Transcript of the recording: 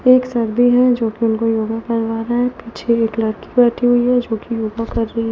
एक है जो कि उनको योगा करवा रहा है पीछे एक लड़की बैठी हुई है जो कि योगा कर रही है।